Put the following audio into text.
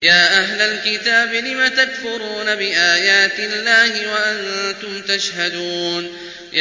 يَا أَهْلَ الْكِتَابِ لِمَ تَكْفُرُونَ بِآيَاتِ اللَّهِ وَأَنتُمْ تَشْهَدُونَ